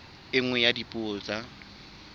e nngwe ya dipuo tsa